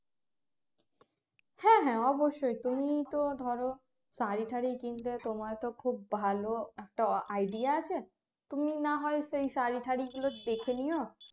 হ্যাঁ হ্যাঁ অবশ্যই তুমি তো ধরো শাড়িটাড়ি কিনতে তোমার তো খুব ভালো একটা idea আছে তুমি না হয় সেই শাড়িটাড়িগুলো দেখে নিয়